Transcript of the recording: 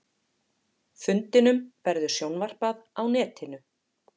Fundinum verður sjónvarpað á netinu